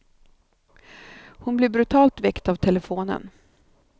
Hon blir brutalt väckt av telefonen.